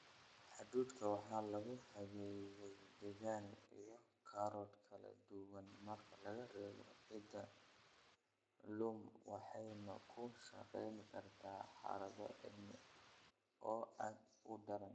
Hadhuudhka waxa lagu habeeyey deegaan & carro kala duwan (marka laga reebo ciidda loam) waxayna ku shaqayn kartaa xaalado cimilo oo aad u daran.